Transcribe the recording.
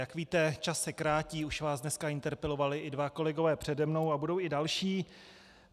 Jak víte, čas se krátí, už vás dneska interpelovali i dva kolegové přede mnou a budou i další.